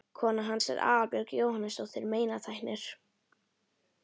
Kona hans er Aðalbjörg Jónasdóttir meinatæknir.